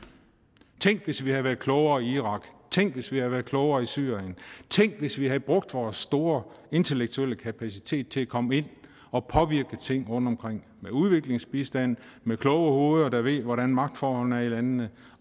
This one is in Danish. tænk hvis vi havde været klogere i irak tænk hvis vi havde været klogere i syrien tænk hvis vi havde brugt vores store intellektuelle kapacitet til at komme ind og påvirke ting rundtomkring med udviklingsbistand og med kloge hoveder der ved hvordan magtforholdene er i landene